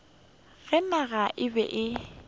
ge naga e be e